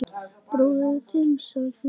Bróðir þinn sagði hann.